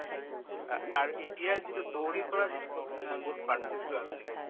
অ, আৰু এতিয়া যিটো দৌৰিৰ পৰা যিটো pachina বহুত পাৰ্থক্য আছেগে